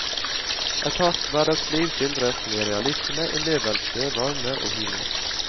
Et hardt hverdagsliv skildres med realisme, innlevelse, varme og humor.